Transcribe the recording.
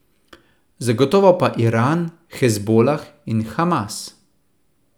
Zagotovo pa Iran, Hezbolah in Hamas.